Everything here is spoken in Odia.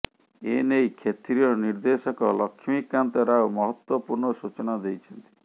ଏନେଇ କ୍ଷେତ୍ରୀୟ ନିର୍ଦ୍ଦେଶକ ଲକ୍ଷ୍ମୀକାନ୍ତ ରାଓ ମହତ୍ୱପୂର୍ଣ୍ଣ ସୂଚନା ଦେଇଛନ୍ତି